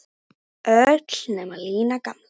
Öll nema Lína gamla.